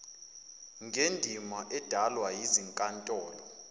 ngendima edlalwa yizinkantolo